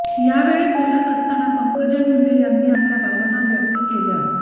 यावेळी बोलत असताना पंकजा मुंडे यांनी आपल्या भावना व्यक्त केल्या